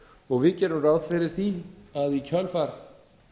og við gerum ráð fyrir því að í kjölfar